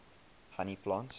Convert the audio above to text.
honey plants